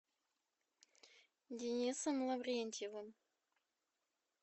денисом лаврентьевым